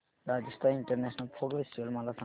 Rajasthan international folk festival मला सांग